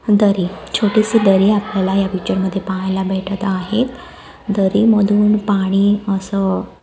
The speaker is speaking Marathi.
दरी छोटीशी दरी आपल्याला या पिक्चरमध्ये पाहायला भेटत आहे दरी मधून पाणी असं--